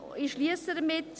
Ich schliesse hiermit.